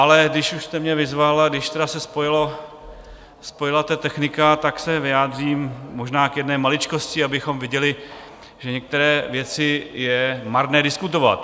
Ale když už jste mě vyzval a když už se spojila ta technika, tak se vyjádřím možná k jedné maličkosti, abychom viděli, že některé věci je marné diskutovat.